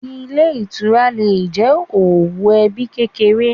Ilé Ìtura le è jẹ́ òwò ebí kékeré